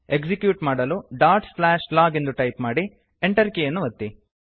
execute ಮಾಡಲು dot slash log ಎಂದು type ಮಾಡಿ Enter ಕೀಯನ್ನು ಒತ್ತಿ